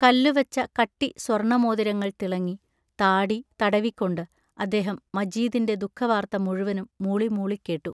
കല്ലുവച്ച കട്ടി സ്വർണമോതിരങ്ങൾ തിളങ്ങി, താടി തടവിക്കൊണ്ട്, അദ്ദേഹം മജീദിന്റെ ദുഃഖവാർത്ത മുഴുവനും മൂളിമൂളി കേട്ടു.